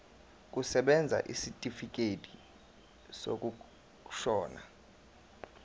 kusebenza isitifikedi sokushona